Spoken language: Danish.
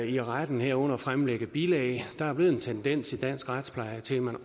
i retten herunder at fremlægge bilag der er blevet en tendens i dansk retspleje til at man